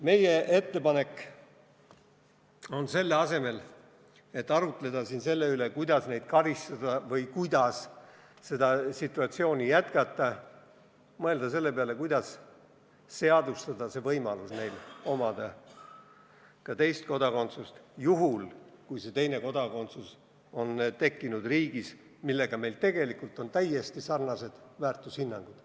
Meie ettepanek on selle asemel, et arutleda selle üle, kuidas neid karistada või kuidas seda situatsiooni jätkata, mõelda selle peale, kuidas seadustada võimalus, mis laseks neil omada ka teist kodakondsust juhul, kui see teine kodakondsus on tekkinud riigis, millega meil tegelikult on täiesti sarnased väärtushinnangud.